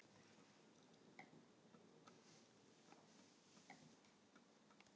Þetta er alls ekki það.